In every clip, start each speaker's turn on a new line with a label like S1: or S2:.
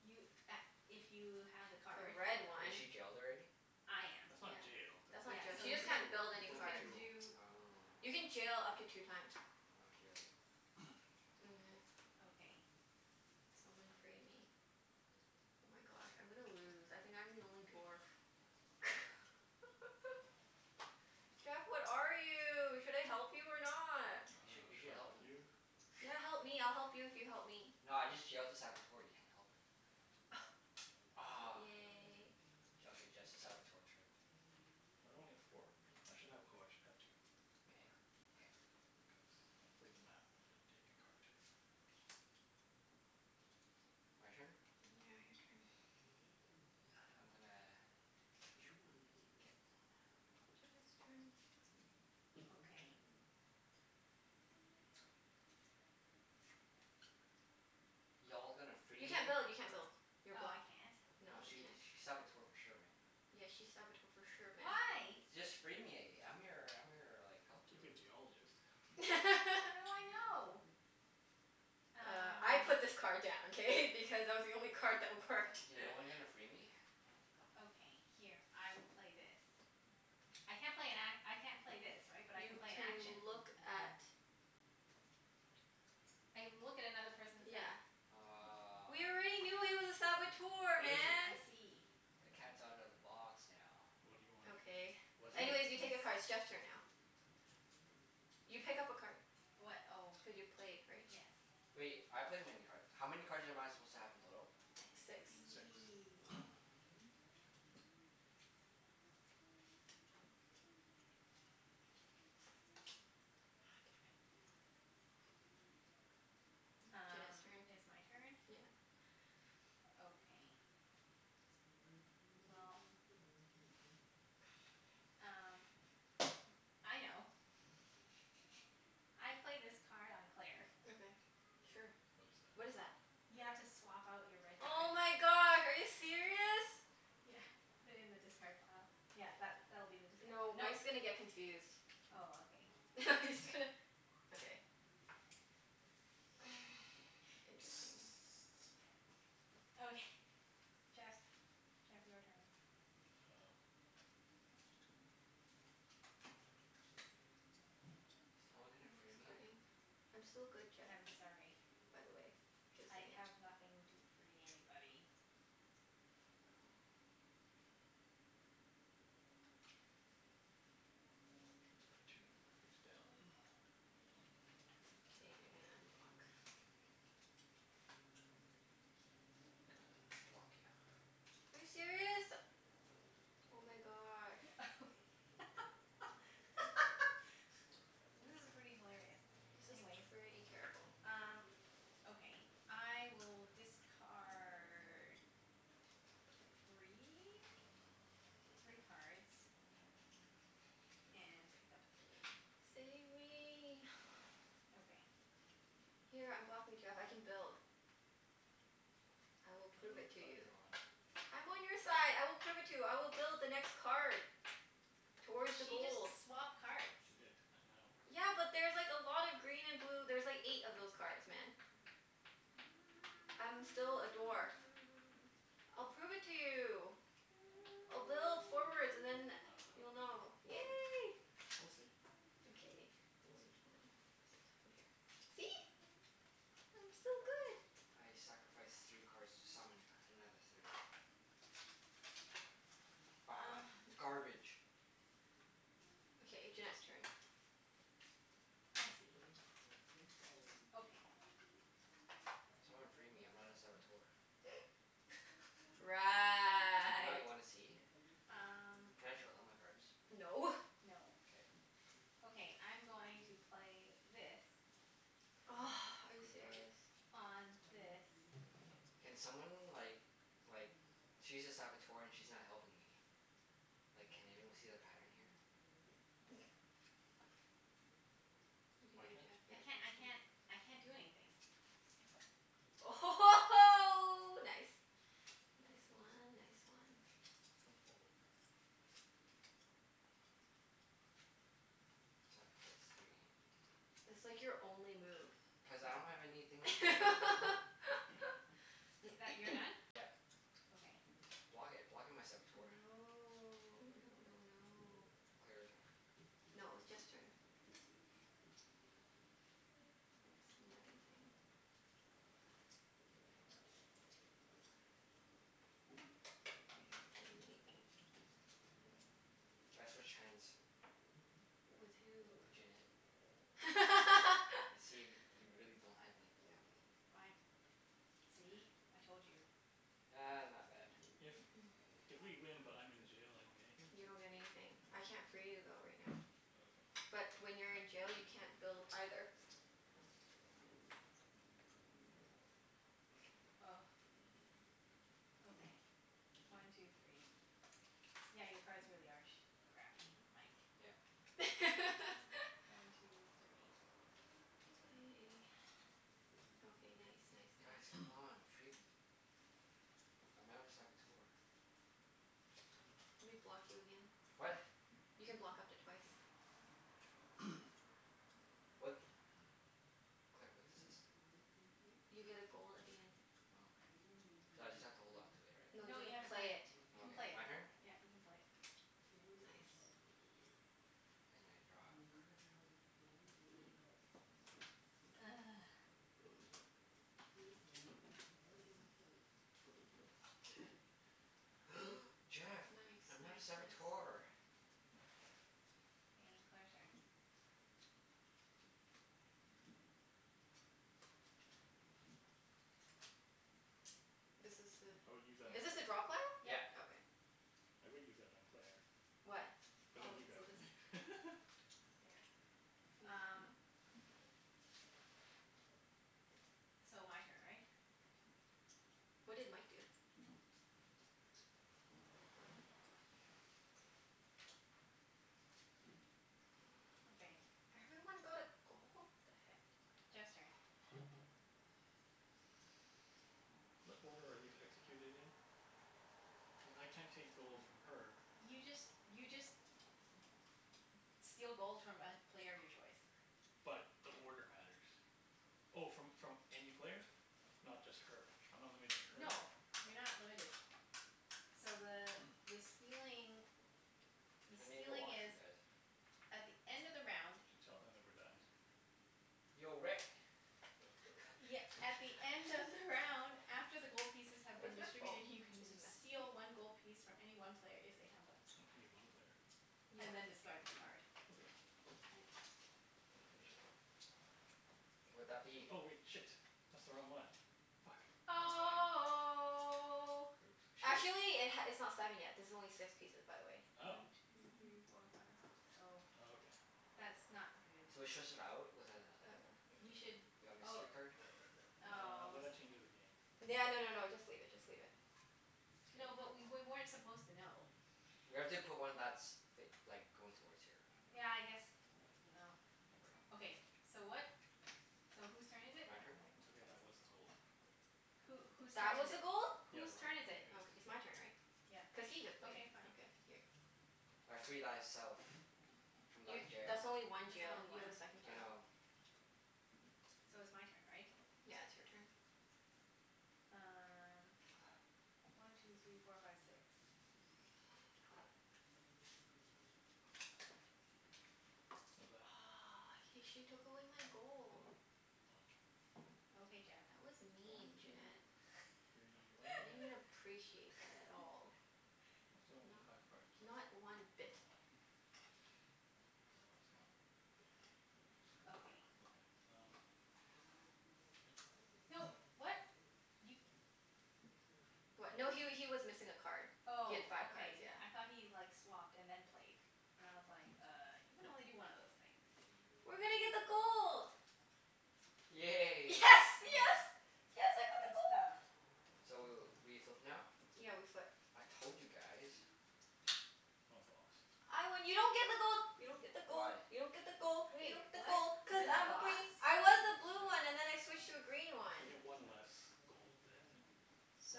S1: You a- if you have the
S2: The
S1: card.
S2: red
S3: Is
S2: one.
S3: she jailed already?
S1: I am.
S4: That's not
S2: Yeah.
S4: jailed. That
S2: That's
S4: You broke
S1: Yeah.
S2: not jail.
S1: So
S2: She just
S1: you
S4: a
S1: can,
S2: can't
S4: tool.
S2: build
S4: You
S2: any
S1: you
S4: broke a
S2: cards.
S1: can
S4: tool.
S1: do
S3: Oh.
S2: You can jail up to two times.
S3: I'll jail you.
S2: Mhm.
S1: Okay.
S2: Someone free me. Oh my gosh, I'm gonna lose. I think I'm the only dwarf. Jeff, what are you? Should I help you or not?
S4: I
S3: You sh-
S4: dunno.
S3: you should
S4: Should I
S3: help
S4: help
S3: him.
S4: you?
S2: Yeah, help me. I'll help you if you help me.
S3: No, I just jailed a Saboteur. You can't help her. Aw.
S2: Yay.
S3: J- okay, just the Saboteur, true.
S4: Why do I only get four? I should have, oh I should have two.
S3: K.
S4: More.
S3: K.
S4: Because I play the map and take a card.
S3: My turn?
S2: Yeah, your turn.
S3: I'm gonna ditch one and get one.
S2: Jeff has a turn.
S1: Okay.
S3: Y'all gonna free
S2: You
S3: me?
S2: can't build. You can't build. You're
S1: Oh, I
S2: blocked.
S1: can't?
S2: No,
S3: Nah,
S2: you
S3: she
S2: can't.
S3: sh- she's Saboteur for sure, man.
S2: Yeah, she's Saboteur for sure, man.
S1: Why?
S3: Y- just free me. I'm your I'm your like, helper.
S4: Could be a Geologist.
S1: How do I know?
S2: Uh, I put
S1: Uh
S2: this card down, k? Because it was the only card that worked.
S3: Yeah, no one gonna free me?
S1: Okay, here. I will play this. I can't play an a- I can't play this, right? But I can
S2: You
S1: play an
S2: can
S1: action?
S2: look at
S1: I can look at another person's
S2: Yeah.
S1: hand.
S3: Aw.
S2: We already knew he was a Saboteur,
S4: What is he?
S2: man!
S1: I see.
S3: The cat's outta the box now.
S4: What do you want?
S2: Okay.
S4: What do
S2: Anyways,
S4: you
S2: you take a
S1: He's
S2: card. It's Jeff's turn now. You pick up a card.
S1: What? Oh.
S2: Cuz you played, right?
S1: Yes.
S3: Wait, I played many card, how many cards am I supposed to have in total?
S1: I
S2: Six.
S4: Six.
S1: see.
S3: Ah.
S2: Aw, damn it. Junette's
S1: Um,
S2: turn.
S1: it's my turn?
S2: Yeah.
S1: Okay. Well, um m- I know. I play this card on Claire.
S2: Okay, sure.
S4: What is that?
S2: What is that?
S1: You have to swap out your red
S2: Oh
S1: card.
S2: my god, are you serious?
S1: Yeah, put it in the discard pile. Yeah, that's, that'll be the discard pile.
S2: No,
S1: Mike's
S2: Mike's gonna get confused.
S1: Oh, okay.
S2: I'm just gonna Okay. Interesting.
S1: Okay. Jeff's. Jeff, your turn.
S4: Oh.
S3: Is no one
S2: Are
S3: gonna
S2: you
S3: free me?
S2: discarding? I'm still good, Jeff.
S1: I'm sorry.
S2: By the way. Just
S1: I
S2: saying.
S1: have nothing to free anybody.
S4: It's card two, face down. One
S2: K,
S4: two.
S2: you're gonna unblock
S3: Gonna block you.
S2: Are you serious? Oh my gosh. Thank you.
S1: This is pretty hilarious.
S2: This is
S1: Anyways
S2: pretty terrible.
S1: Um, okay. I will discard three? Three cards. And pick up three.
S2: Save me.
S1: Okay.
S2: Here, unblock me, Jeff. I can build. I will
S4: I
S2: prove
S4: dunno
S2: it
S4: whose
S2: to
S4: side
S2: you.
S4: you're on.
S2: I'm on your side. I will prove it to you. I will build the next card. Towards the
S1: She just
S2: gold.
S1: swapped cards.
S4: She did. I know.
S2: Yeah, but there's like a lot of green and blue. There's like eight of those cards, man. I'm still a dwarf. I'll prove it to you. I'll build forwards and then
S4: I
S2: you'll know.
S4: dunno. We'll
S2: Yay.
S4: see. We'll see.
S2: Okay,
S4: We'll
S2: which
S4: see.
S2: one? Is a two, here. See? I'm still good.
S3: I sacrifice three cards to summon another three. Ah! Garbage.
S2: Okay, Junette's turn.
S1: I see. Okay.
S3: Someone free me. I'm not a Saboteur. I'm not.
S2: Right.
S3: You wanna see?
S1: Um
S3: Can I show them my cards?
S2: No.
S1: No.
S3: K.
S1: Okay, I'm going to play this.
S2: Are you serious?
S1: On this.
S3: Can someone like like, she's a Saboteur and she's not helping me. Like, can anyone see the pattern here?
S2: You can do
S4: My
S2: it,
S4: turn?
S1: I
S2: Jeff.
S1: can't I can't I can't do anything.
S2: Oh ho ho ho, nice! Nice one. Nice one.
S4: Gonna fall over.
S3: Sacrifice three.
S2: It's like your only move.
S3: Cuz I don't have anything free me.
S1: I- that, you're done?
S3: Yeah.
S1: Okay.
S3: Block it. Block it, my Saboteur.
S2: No. No no no.
S3: Claire, your turn.
S2: No, it was Jeff's turn. It's a money thing. One two three four five. Okay, I haven't done anything.
S3: I switch hands.
S2: With who?
S3: Junette.
S1: Okay.
S3: And see if y- you really don't have anything to help me.
S1: Fine. See? I told you.
S3: Ah, not bad.
S4: If if we win but I'm in the jail, I don't get anything?
S2: You don't get anything. I can't free you though, right now.
S4: Okay.
S2: But when you're in jail, you can't build, either.
S1: Okay. One two three. Yeah, your cards really are sh- crappy, Mike.
S3: Yep.
S1: One two three.
S2: K.
S4: K.
S2: Okay, nice nice
S3: Guys,
S2: nice.
S3: come on. Free me. I'm not a Saboteur.
S2: Let me block you again.
S3: What?
S2: You can block up to twice.
S3: What? Claire, what does this do?
S2: You get a gold at the end.
S3: Oh, okay. So I just have to hold on to it, right?
S2: No, you've
S1: No, you have
S2: gotta
S1: to
S2: play
S1: play
S2: it.
S1: it. You
S3: Oh,
S1: can play
S3: okay.
S1: it.
S3: My turn?
S1: Yeah, you can play it.
S2: Nice.
S3: And I draw a card. Jeff!
S2: Nice nice
S3: I'm not a
S2: nice.
S3: Saboteur.
S1: K, Claire's turn.
S2: This is
S4: I would use that
S2: a,
S4: on
S2: is this a drop hole?
S4: Claire.
S1: Yeah,
S3: Yep.
S1: yeah.
S2: Okay.
S4: I would use that on Claire.
S2: What?
S4: But then
S1: Oh,
S4: you grab
S1: so this
S4: it.
S1: is there.
S2: Use what?
S1: Um So, my turn, right?
S2: What did Mike do?
S1: Okay.
S2: Everyone got a gold? The heck?
S1: Jeff's turn.
S4: What order are these executed in? Cuz I can't take gold
S1: N-
S4: from her.
S1: you just, you just steal gold from a player of your choice.
S4: But, the order matters. Oh, from from any player? Not just her? I'm not limited to her?
S1: No. You're not limited. So the the stealing the
S3: I need the
S1: stealing is
S3: washroom, guys.
S1: at the end of the round
S4: Should tell them that we're done.
S3: Yo, Rick.
S1: Ye- at the end of the round after the gold pieces have been
S2: Where's my phone?
S1: distributed, you can
S2: Did he
S1: d-
S2: message me?
S1: steal one gold piece from any one player if they have one.
S4: O- any one player.
S2: Yeah.
S1: And then
S4: Okay.
S1: discard this card.
S4: Okay.
S2: All right.
S4: Finish it then.
S3: Would that be
S4: Oh wait. Shit. That's the wrong one. Fuck. Never mind.
S1: Oh.
S4: Oops.
S3: Should we
S2: Actually it h- it's not seven yet. This is only six pieces, by the way.
S4: Oh.
S1: One two three four five six, oh.
S4: Oh, okay.
S1: That's not good.
S3: Should we swish out with a like
S2: Or
S1: We should
S3: a
S1: oh
S3: mystery card?
S4: Uh,
S1: oh
S4: but
S1: s-
S4: that changes the game.
S2: No no no no, just leave it. Just leave it.
S1: No, but
S3: K.
S1: we wer- weren't supposed to know.
S3: We have to put one that's f- like, going towards here, you know?
S1: Yeah, I guess, no, whatever. Okay, so what? So whose turn is it?
S3: My turn?
S4: It's okay, that was the gold.
S1: Who, whose
S2: That
S1: turn
S2: was
S1: is
S2: a
S1: it?
S2: gold?
S4: Yeah,
S1: Whose
S4: the right
S1: turn
S4: one.
S1: is
S4: It
S1: it?
S2: Okay.
S4: is,
S2: It's
S4: so
S2: my turn, right?
S1: Yeah.
S2: Cuz he just played.
S1: Okay, fine.
S2: Okay, here.
S3: I free thyself. From thy
S2: You,
S3: jail.
S2: that's only one
S1: That's
S2: jail.
S1: only
S2: You have a
S1: one.
S2: second
S3: I
S2: jail.
S3: know.
S1: So it's my turn, right?
S2: Yeah, it's your turn.
S1: Um One two three four five six.
S4: What's that?
S2: Aw, he, she took away my gold.
S4: Oh.
S1: Okay, Jeff.
S2: That was mean,
S4: One two
S2: Junette.
S4: three, why
S2: I didn't
S4: don't I
S2: appreciate that at all.
S4: I still only need five
S2: Not
S4: cards.
S2: not one
S4: I don't
S2: bit.
S4: know why. Well, well that's not very useful.
S1: Okay.
S4: Okay. Um
S1: No, what? You
S2: What?
S4: What?
S2: No he wa- he was missing a card. He had
S1: Oh,
S2: five cards.
S1: okay.
S2: Yeah.
S1: I thought he like, swapped and then played. And I was like, "Uh, you can only
S4: No.
S1: do one of those things."
S2: We're gonna get the gold. Yes,
S3: Yay.
S1: Oh,
S2: yes!
S1: yay.
S2: Yes, I got the
S1: Good
S2: gold!
S1: stuff.
S3: So w- we flip now?
S2: Yeah, we flip.
S3: I told you guys.
S4: I'm a Boss.
S2: I win. You don't get the gold! You don't get the gold!
S3: Why?
S2: You don't get the gold! You
S1: Wait,
S2: don't get the gold!
S1: what?
S4: I'm
S2: Cuz
S4: the
S1: You're the
S2: I'm a
S1: Boss?
S4: Boss.
S2: green. I was a blue
S4: Yeah.
S2: one and then I switched to a green one.
S4: I get one less gold than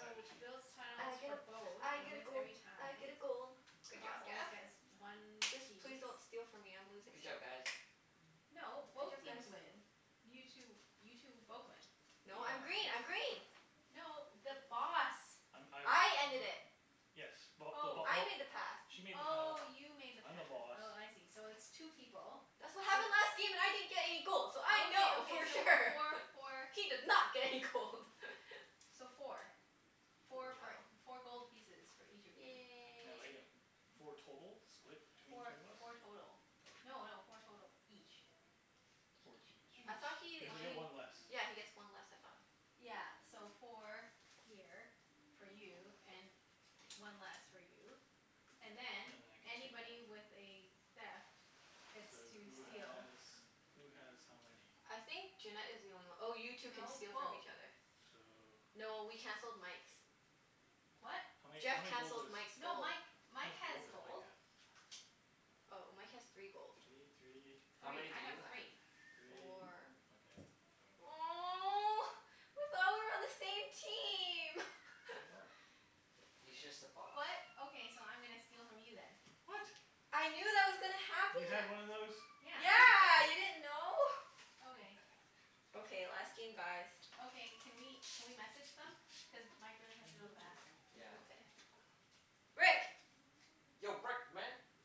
S4: either
S1: builds
S4: team.
S1: tiles
S2: I get
S1: for
S2: a,
S1: both
S2: I
S1: and
S2: get a
S1: wins
S2: gold.
S1: every
S2: I get
S1: time.
S2: a gold.
S1: The
S2: Good job,
S1: Boss always
S2: Jeff.
S1: gets one
S2: Just please
S1: piece.
S2: don't steal from me. I'm losing
S3: Good job,
S2: still.
S3: guys.
S1: No,
S2: Good
S1: both
S2: job,
S1: teams
S2: guys.
S1: win. You two, you two both win.
S2: No, I'm
S3: Yeah.
S2: green. I'm green!
S1: No, the Boss.
S4: I'm, I win.
S2: I ended it.
S4: Yes. Well, the Bo-
S1: Oh.
S2: I
S4: oh
S2: made the pass.
S4: She made the path,
S1: Oh, you made the
S4: I'm the
S1: pass.
S4: Boss.
S1: Oh, I see. So it's two people.
S2: That's what
S1: So
S2: happened last game and I didn't get any gold so I
S1: Okay,
S2: know
S1: okay,
S2: for
S1: so
S2: sure!
S1: four for
S2: She did not get any gold!
S1: So four.
S4: Four
S1: Four
S4: gold.
S1: for,
S2: Oh.
S1: four gold pieces for each of you.
S4: Now I
S2: Yay.
S4: get w- four total? Split between
S1: Four,
S4: two of us?
S1: four total.
S4: Okay.
S1: No no, four total each.
S4: Four
S2: Each.
S4: each.
S2: I thought
S1: Each.
S2: he
S4: Cuz I get
S2: he
S1: One
S4: one less.
S2: Yeah, he gets one less, I thought?
S1: Yeah, so four here, for you, and one less for you. And
S4: And
S1: then,
S4: then I can take one.
S1: anybody with a theft gets
S4: So,
S1: to
S4: who
S1: steal.
S4: has who has how many?
S2: I think Junette is the only one. Oh, you two can
S1: No,
S2: steal from
S1: both.
S2: each other.
S4: So
S2: No, we canceled Mike's.
S1: What?
S4: How many,
S2: Jeff
S4: how many gold
S2: cancelled
S4: does
S2: Mike's
S1: No,
S2: gold.
S1: Mike,
S4: How
S1: Mike
S4: much
S1: has
S4: gold does Mike
S1: gold.
S4: have?
S2: Oh, Mike has three gold.
S4: Three, three
S3: How many
S1: Three.
S3: do
S1: I have
S3: you have?
S1: three.
S4: three.
S2: Four
S4: Okay, yoink.
S2: Oh. I thought we were on the same team!
S4: We are.
S3: He's just the boss.
S1: What? Okay, so I'm gonna steal from you then.
S4: What?
S2: I knew that was gonna
S4: You had
S2: happen.
S4: one of those?
S1: Yeah.
S2: Yeah, you didn't know?
S4: God
S1: Okay.
S4: damn it.
S2: Okay, last game, guys.
S1: Okay. Can we can we message them? Cuz Mike really has to go to the bathroom.
S2: Mm,
S3: Yeah.
S2: ok-